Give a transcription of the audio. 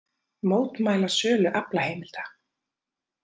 Mótmæla sölu aflaheimilda